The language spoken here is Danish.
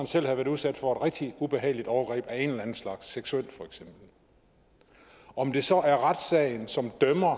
selv havde været udsat for et rigtig ubehageligt overgreb af en eller anden slags seksuelt altså om det så er retssagen som dømmer